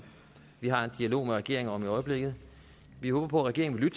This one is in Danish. vi har en dialog med regeringen om i øjeblikket vi håber på at regeringen vil